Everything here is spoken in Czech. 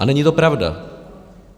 A není to pravda.